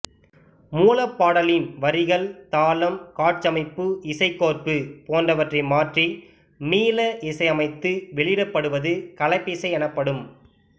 மூலப் பாடலின் வரிகள் தாளம் காட்சியமைப்பு இசைக்கோர்ப்பு போன்றவற்றை மாற்றி மீள இசையமைத்து வெளியிடப்படுவது கலப்பிசை எனப்படும்